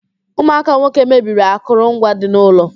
Ụmụaka nwoke mebiri akụrụ ngwa dị n'ụlọ